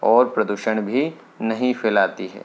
और प्रदूषण भी नहीं फैलाती है।